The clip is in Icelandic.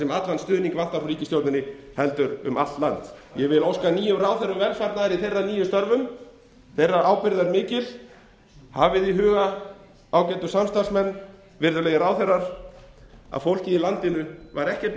sem allan stuðning vantar frá ríkisstjórninni heldur um allt land ég óska nýjum ráðherrum velfarnaðar í þeirra nýju störfum ábyrgð þeirra er mikil hafið í huga ágætu samstarfsmenn virðulegu ráðherrar að fólkið í landinu var